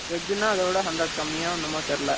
veg ன்னா அதைவிட hundred கம்மியா என்னமோ தெரியலே